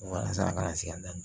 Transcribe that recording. Walasa a kana se ka na